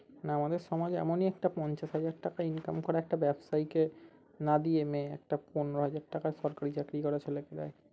না আমাদের সমাজ এমনি একটা পঞ্চাশ হাজার টাকা income করা একটা ব্যবসায়ীকে একটা পনেরো হাজার টাকা সরকারি চাকরি করা ছেলেপুলে